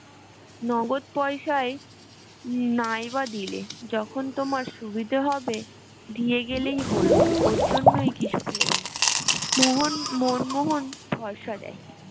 নগদ পয়সায় নাই বা দিলে যখন তোমার সুবিধে হবে দিয়ে গেলেই হলো ওর জন্য কিছু ভেবো না মোহন মনমোহন ভরসা দেয়